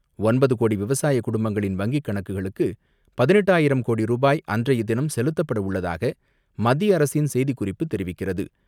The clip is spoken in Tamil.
ஒன்பது கோடி விவசாய குடும்பங்களின் வங்கி கணக்குகளுக்கு பதினெட்டு ஆயிரம் கோடி ரூபாய் அன்றைய தினம் செலுத்தப்பட உள்ளதாக மத்திய அரசின் செய்திக் குறிப்பு தெரிவிக்கிறது.